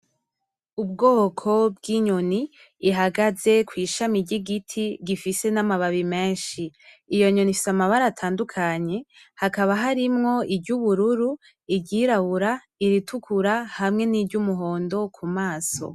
Ubwoko bw'inyoni ihagaze kw'ishami ry'igiti gifise n'amababi menshi. Iyo nyoni ifise amabara atandukanye. Hakaba harimwo iryubururu, iryirabura, iritukura, hamwe n'iry'umuhondo ku maso.